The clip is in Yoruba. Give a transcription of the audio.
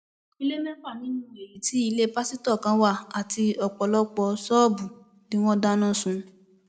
ilé mẹfà nínú èyí tí ilé pásítọ kan wà àti ọpọlọpọ ṣọọbù ni wọn dáná sun